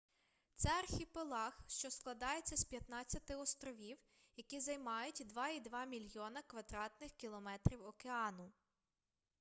це архіпелаг що складається з 15 островів які займають 2,2 мільйона квадратних кілометрів океану